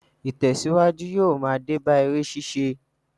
Ìtèsíwájú yóò ma dé bá eré ṣíṣe